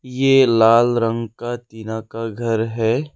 ये लाल रंग का टीना का घर है।